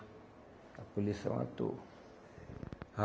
A polícia matou.